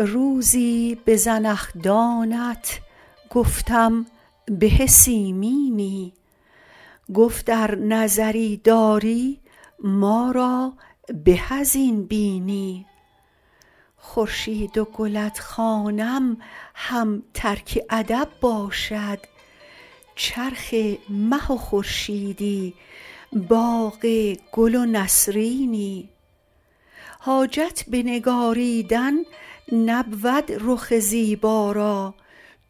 روزی به زنخدانت گفتم به سیمینی گفت ار نظری داری ما را به از این بینی خورشید و گلت خوانم هم ترک ادب باشد چرخ مه و خورشیدی باغ گل و نسرینی حاجت به نگاریدن نبود رخ زیبا را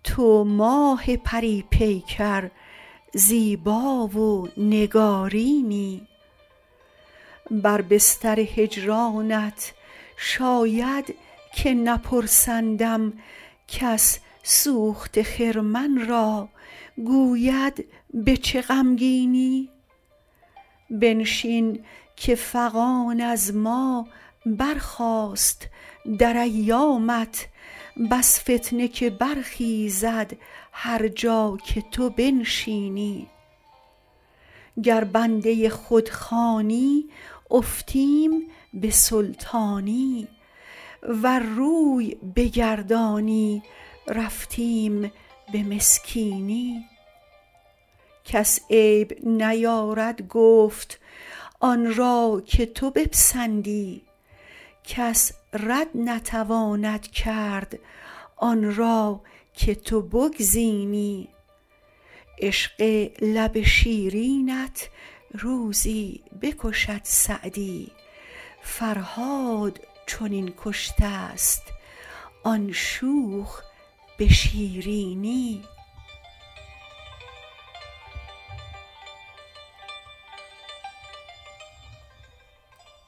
تو ماه پری پیکر زیبا و نگارینی بر بستر هجرانت شاید که نپرسندم کس سوخته خرمن را گوید به چه غمگینی بنشین که فغان از ما برخاست در ایامت بس فتنه که برخیزد هر جا که تو بنشینی گر بنده خود خوانی افتیم به سلطانی ور روی بگردانی رفتیم به مسکینی کس عیب نیارد گفت آن را که تو بپسندی کس رد نتواند کرد آن را که تو بگزینی عشق لب شیرینت روزی بکشد سعدی فرهاد چنین کشته ست آن شوخ به شیرینی